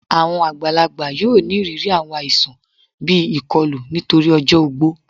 Àwọn àgbàlágbà yóò ní ìrírí àwọn àìsàn bí ikọlù nítorí ọjọ ògbó